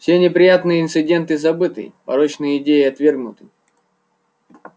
все неприятные инциденты забыты порочные идеи отвергнуты